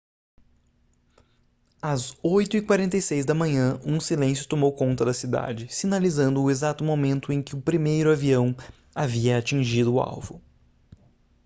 às 8:46 da manhã um silêncio tomou conta da cidade sinalizando o exato momento em que o primeiro avião havia atingido o alvo